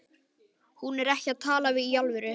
Hún er ekki að tala í alvöru.